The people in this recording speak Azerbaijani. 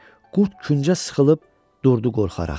Qurd küncə sıxılıb durdu qorxaraq.